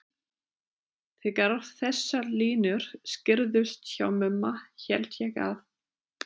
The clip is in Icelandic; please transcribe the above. Þegar þessar línur skýrðust hjá Mumma hélt ég að